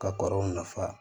Ka kɔrɔw nafa